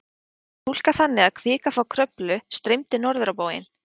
Þetta var túlkað þannig að kvika frá Kröflu streymdi norður á bóginn.